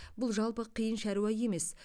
бұл жалпы қиын шаруа емес